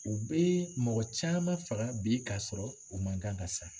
U bɛ mɔgɔ caman faga bi ka sɔrɔ u man kan ka sa.